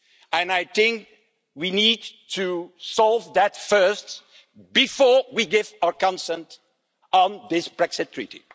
And I think we need to solve that first, before we give our consent on this Brexit treaty.